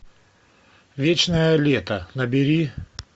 вечное лето набери